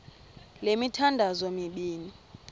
le mithandazo mibini